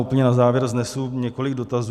Úplně na závěr vznesu několik dotazů.